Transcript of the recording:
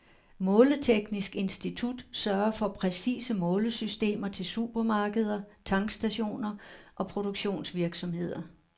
Måleteknisk institut sørger for præcise målesystemer til supermarkeder, tankstationer og produktionsvirksomheder.